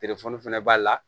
fɛnɛ b'a la